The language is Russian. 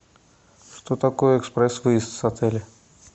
что такое экспресс выезд с отеля